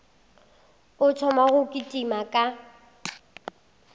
a thoma go kitima ka